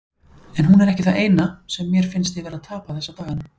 En hún er ekki það eina, sem mér finnst ég vera að tapa þessa daga.